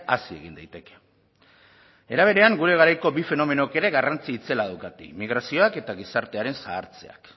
hazi egin daiteke era berean gure garaiko bi fenomenok ere garrantzi itzela daukate migrazioak eta gizartearen zahartzeak